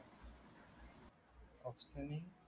obstaining